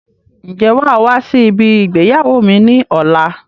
Ń jẹ́ wàá wá sí ibi ìgbéyàwó mi ni ọ̀la?